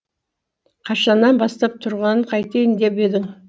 қашаннан бастап тұрғанын қайтейін деп едің